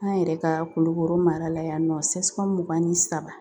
An yɛrɛ ka kulukoro mara la yan nɔ CSCOM mugan ni saba